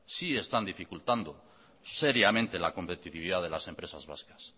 sí están dificultando seriamente la competitividad de las empresas vascas